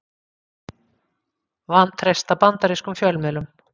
Vantreysta bandarískum fjölmiðlum